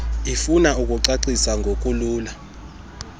ifuna ukucacisa ngokulula